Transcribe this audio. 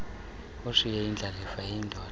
ashiye indlalifa eyindoda